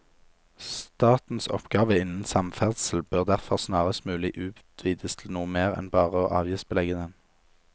Statens oppgave innen samferdsel bør derfor snarest mulig utvides til noe mer enn bare å avgiftsbelegge den.